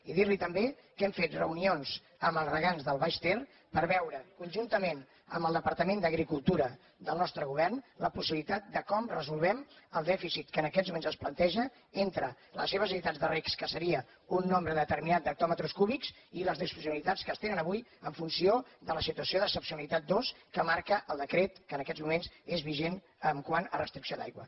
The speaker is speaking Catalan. i dir li també que hem fet reunions amb els regants del baix ter per veure conjuntament amb el departament d’agricultura del nostre govern la possibilitat de com resolem el dèficit que en aquests moments es planteja entre les seves necessitats de reg que seria un nombre determinat d’hectòmetres cúbics i les disfuncionalitats que es tenen avui en funció de la situació d’excepcionalitat dos que marca el decret que en aquests moments és vigent quant a restricció d’aigua